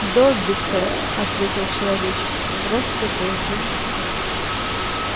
добби сэр ответил человечек просто добби